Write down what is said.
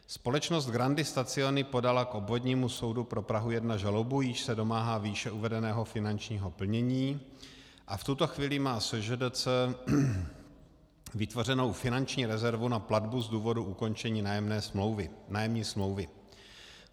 Společnost Grandi Stazioni podala k Obvodnímu soudu pro Prahu 1 žalobu, jíž se domáhá výše uvedeného finančního plnění, a v tuto chvíli má SŽDC vytvořenou finanční rezervu na platbu z důvodu ukončení nájemní smlouvy.